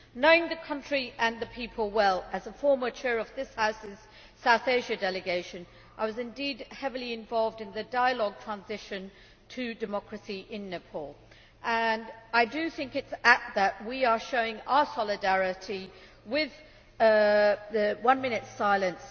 Knowing the country and the people well as a former Chair of this House's South Asia Delegation I was indeed heavily involved in the dialogue on transition to democracy in Nepal I do think that it is apt that we are showing our solidarity with the one minute silence.